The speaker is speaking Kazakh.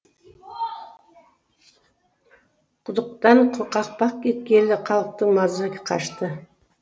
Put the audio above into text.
құдықтан қақпақ кеткелі халықтан маза қашты